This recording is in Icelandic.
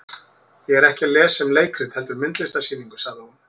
Ég er ekki að lesa um leikrit heldur myndlistarsýningu, sagði hún.